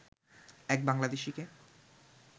এক বাংলাদেশিকে